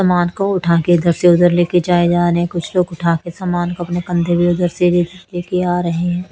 समान को उठाके इधर से उधर ले के जाए जा रहे कुछ लोग उठा के समान को अपने कंधे पे उधर से भी ले के आ रहे है।